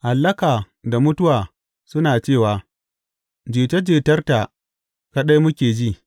Hallaka da mutuwa suna cewa, Jita jitarta kaɗai muke ji.’